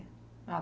Ah,